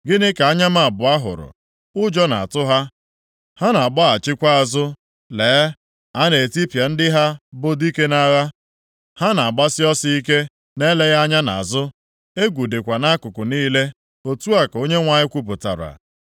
Gịnị ka anya m abụọ hụrụ? Ụjọ na-atụ ha, ha na-agbaghachikwa azụ; lee, a na-etipịa ndị ha bụ dike nʼagha. Ha na-agbasi ọsọ ike, na-eleghị anya nʼazụ. Egwu dịkwa nʼakụkụ niile,” otu a ka Onyenwe anyị kwupụtara.